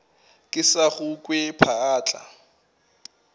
ke sa go kwe phaahla